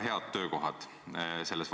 Teil on õige küsimus.